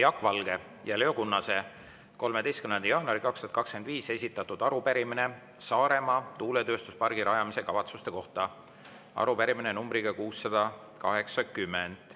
Riigikogu liikmete Jaak Valge ja Leo Kunnase 13. jaanuaril 2025 esitatud arupärimine Saaremaa tuuletööstuspargi rajamise kavatsuse kohta, arupärimine numbriga 680.